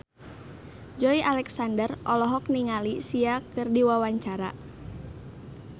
Joey Alexander olohok ningali Sia keur diwawancara